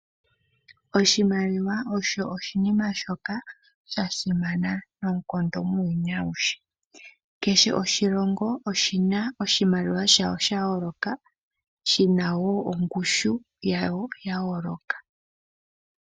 Oshimaliwa osho oshinima shoka sha simana noonkondo muuyuni awuhe. Kehe oshilongo oshina oshimaliwa shawo sha yoloka shina wo ongushu yawo yayoloka.